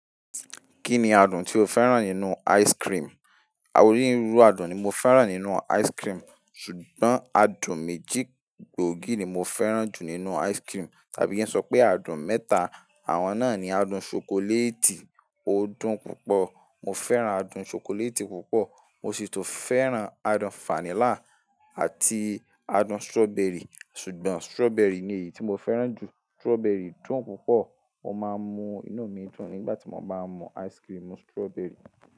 Kí ni adùn tí o fẹ́ràn nínú ice cream? Awo oní irú ru adùn ni mo fẹ́ràn nínú ice cream, ṣùgbọ́n adùn méjì gbòógì ni mo fẹ́ràn jù nínú ice cream. Tàbí kí n sọ pé adùn mẹ́ta. Àwọn náà ni adùn ṣokoléètì ó dùn púpọ̀. Mo fẹ́ràn adùn ṣokoléètì púpọ̀. Mo sì tún fẹ́ràn adùn fanílà àti adùn strawberry. Ṣùgbọ́n strawberry ni èyí tí mo fẹ́ràn jù. Strawberry dùn púpọ̀. Mo máa ń mu inú mi dùn nígbà tí mo bá mú ice cream strawberry.